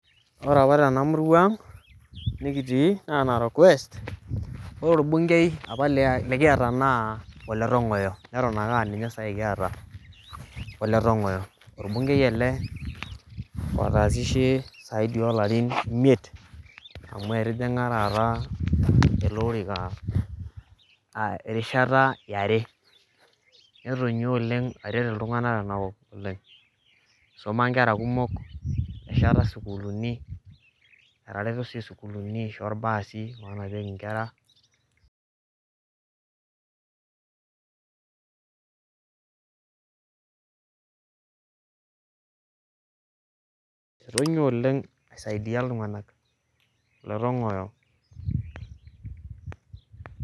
Ore apa tena murwa ang' nekitii naa Narok West. Ore orbungei apa lekiata naa Oletong'oyo neton ake aa ninye saai kiata, Oletong'oyo. Orbungei ele otaasishe zaidi oo larin imiet amu etijing'a taata ele orika erishata e are. Netonyua oleng aret iltung'anak tenakop oleng, isoma nkera kumok, etesheta sukuuluni, etareto sii sukuuluni aisho irbasi oonapieki nkera. Etonyua oleng aisaidia iltung'anak Oletong'oyo